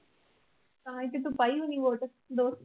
ਤਾਂ ਹੀ ਤੇ ਤੂੰ ਪਾਈ ਹੋਣੀ vote ਦੋਸਤ ਨੂੰ।